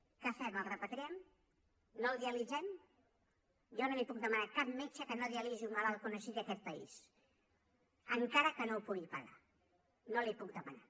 què fem el repatriem no el dialitzem jo no li puc demanar a cap metge que no dialitzi un malalt que ho necessiti en aquest país encara que no ho pugui pagar no li ho puc demanar